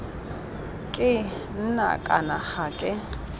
ke nna kana ga ke